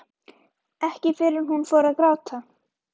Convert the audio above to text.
Ekki fyrr en hún fór að gráta.